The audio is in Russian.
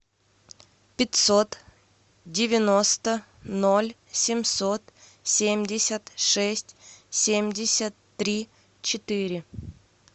пятьсот девяносто ноль семьсот семьдесят шесть семьдесят три четыре